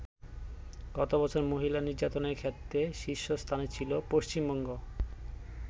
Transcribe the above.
গতবছর মহিলা নির্যাতনের ক্ষেত্রে শীর্ষস্থানে ছিল পশ্চিমবঙ্গ।